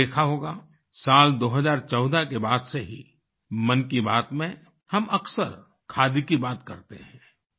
आपने देखा होगा साल 2014 के बाद से ही मन की बात में हम अक्सर खादी की बात करते हैं